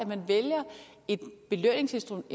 man vælger et belønningsinstrument